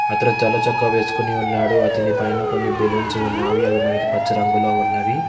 అతను తెల్ల చక్కా వేసుకుని ఉన్నాడు అతని పైన కొన్ని బెలూన్స్ ఉన్నవి అవి మనకి పచ్చ రంగులో ఉన్నవి.